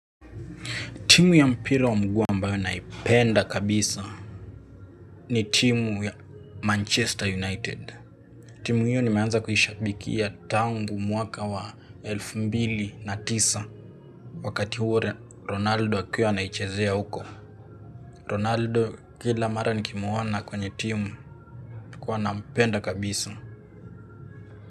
Timu ya mpira wa mguu ambayo naipenda kabisa ni timu ya Manchester United. Timu hiyo nimeanza kuishabikia tangu mwaka wa elfu mbili na tisa wakati huo Ronaldo akiwa anaichezea huko. Ronaldo kila mara nikimwona kwenye timu nilikuwa nampenda kabisa.